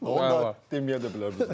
O da deməyə də bilərdim sizə.